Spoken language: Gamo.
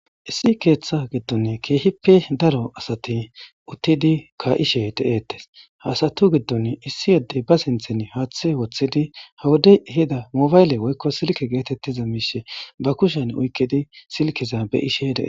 Issi ketha gidon keehippe daro asat utid ka'ide de'etes . Issi Adey ba sinthan hathe wothid ha woda ehida mobayle woyko silke getetiza mishe be kushen oykid silkeza be'ishe de'es.